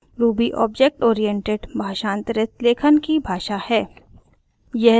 ruby object oriented भाषांतरित लेखन की भाषा है